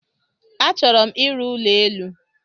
A chọrọ m ịrụ ụlọ élú.